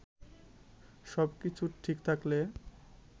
সবকিছু ঠিক থাকলে